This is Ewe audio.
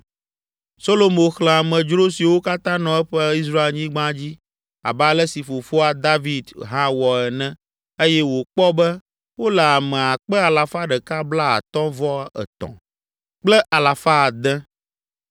Solomo xlẽ amedzro siwo katã nɔ eƒe Israelnyigba dzi, abe ale si fofoa, Fia David hã wɔ ene eye wòkpɔ be, wole ame akpe alafa ɖeka blaatɔ̃-vɔ-etɔ̃ (153,600) kple alafa ade.